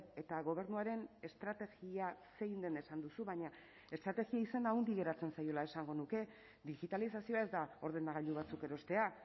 eta gobernuaren estrategia zein den esan duzu baina estrategia izena handi geratzen zaiola esango nuke digitalizazioa ez da ordenagailu batzuk erostea